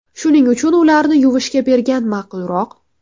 Shuning uchun ularni yuvishga bergan ma’qulroq.